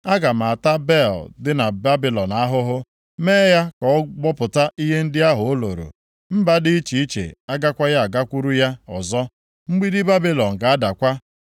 Aga m ata Bel dị na Babilọn ahụhụ, mee ya ka ọ gbọpụta ihe ndị ahụ o loro. Mba dị iche iche agakwaghị agakwurukwa ya ọzọ. Mgbidi Babilọn ga-adakwa.